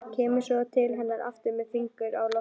Kemur svo til hennar aftur með fingur á lofti.